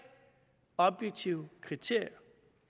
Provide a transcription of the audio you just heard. objektive kriterier